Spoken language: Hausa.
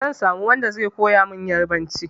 Zan samo wanda zai koya min Ƴarbanci.